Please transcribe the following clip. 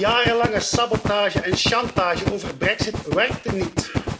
Jarenlange sabotage en chantage over de brexit werkten niet.